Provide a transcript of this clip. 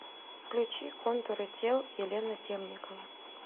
включи контуры тел елена темникова